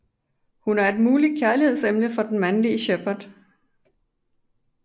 Hun er et muligt kærligheds emne for den mandelige Shepard